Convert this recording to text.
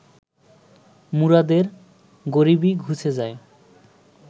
মুরাদের গরিবি ঘুচে যায়